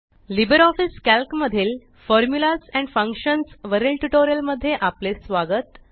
Libre Office Calc मधील formulas and functions वरील tutorial मध्ये आपले स्वागत